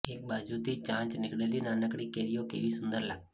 એક બાજુથી ચાંચ નીકળેલી નાનકડી કેરીઓ કેવી સુંદર લાગતી